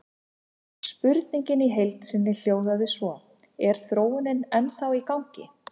Spurningin í heild sinni hljóðaði svona: Er þróunin ennþá í gangi?